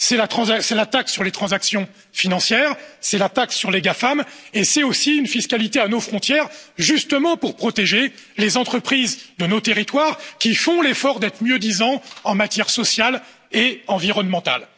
C'est la taxe sur les transactions financières, c'est la taxe sur les GAFAM et c'est aussi une fiscalité à nos frontières, justement pour protéger les entreprises de nos territoires qui font l'effort d'être mieux disantes en matière sociale et environnementale.